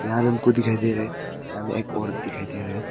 हमको दिखाई दे रहा है यहां में एक औरत दिखाई दे रहा है।